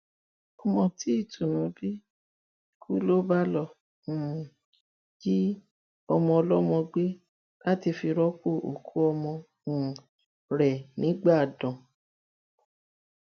ọmọ tí ìtùnú bí kú ló bá lọọ um jí ọmọọlọmọ gbé láti fi rọpò òkú ọmọ um rẹ nígbàdàn